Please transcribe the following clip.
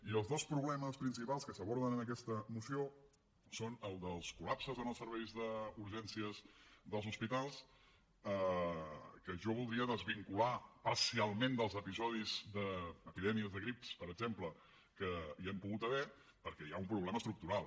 i els dos problemes principals que s’aborden en aquesta moció són els dels col·lapses en els serveis d’urgències dels hospitals que jo voldria desvincular parcialment dels episodis d’epidèmies de grip per exemple que hi han pogut haver perquè hi ha un problema estructural